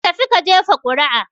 Ka tafi ka jefa ƙuri'a!